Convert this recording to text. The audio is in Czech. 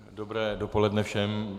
Dobré dopoledne všem.